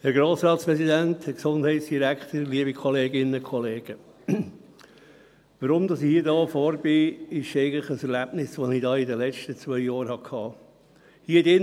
Der Grund, weshalb ich hier vorne bin, ist eigentlich ein Erlebnis, das ich in den letzten zwei Jahren hatte.